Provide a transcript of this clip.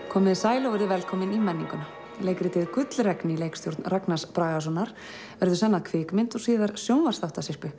komið þið sæl og verið velkomin í menninguna leikritið Gullregn í leikstjórn Ragnars Bragasonar verður senn að kvikmynd og síðar